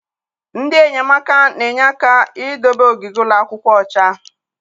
Ndị enyemaka na-enye aka idobe ogige ụlọ akwụkwọ ọcha.